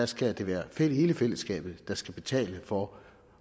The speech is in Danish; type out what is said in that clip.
skal det være hele fællesskabet der skal betale for